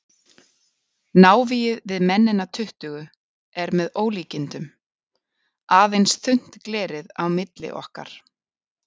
Návígið við mennina tuttugu er með ólíkindum, aðeins þunnt glerið á milli okkar.